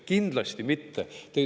Kindlasti mitte!